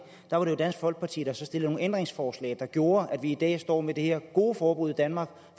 var det jo dansk folkeparti der stillede nogle ændringsforslag der gjorde at vi i dag står med det her gode forbud i danmark